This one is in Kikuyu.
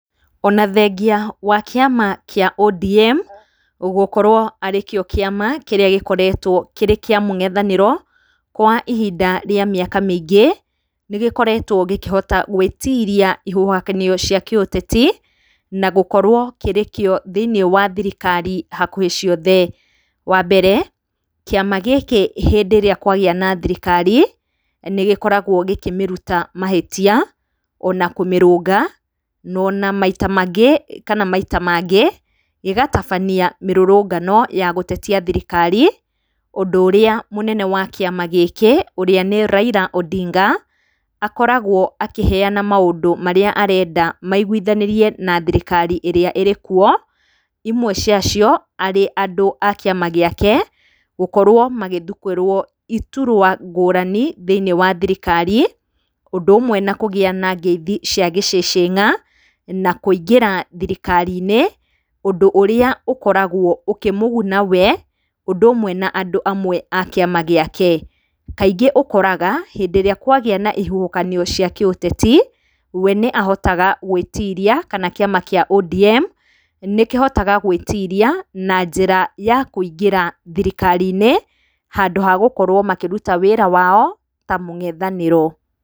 Onathengia wa kĩama kĩa ODM gũkorwo arĩkĩo kĩama gũkoretwo kĩa mũng'ethanĩrwo kwa ihinda rĩa mĩaka mĩingĩ nĩgĩkoretwo gĩkĩhota gwĩtiria huhanio cia kĩũteti na gũkorwo gĩkĩrĩkĩo thĩiniĩ wa thirikari hakuhĩ ciothe. Wambere kĩama gĩkĩ rĩrĩa kwagĩa na thirikari nĩ gĩkoragwo gĩkĩmĩruta mahĩtia ona kũmĩrũnga ona maita mangĩ gĩgabatania mĩrũrũngano ya gũtetia thirikari ũndũ ũrĩa mũnene wa kĩama gĩkĩ ũrĩa nĩ Raila Odinga akoragwo akĩheana maũndũ marĩa arenda maigwithanĩrie na thirikari ĩrĩa ĩrĩkuo imwe ciacio arĩ andũ akĩama gĩake gũkorwo magĩthukĩrwo iturwa ngũrani thĩiniĩ wa thirikari ũndũ ũmwe na kũgĩa na ngeithi cia gĩcĩcĩna na kũingĩra thirikari -inĩ ũndũ ũrĩa ũkoragwo ũkĩmũguna wee ũndũmwe na andũ amwe akĩama gĩake. Kaingĩ ũkoraga hĩndĩrĩa kwagĩa na ihuhĩkanio cia kĩũteti we nĩahotaga gwĩtiria kana kĩama kĩa ODM nĩkĩhotaga gwĩtiria na njĩra ya kũingĩra thirikari -inĩ handũ hagũkorwo makĩruta wĩra wao ta mũng'ethanĩro.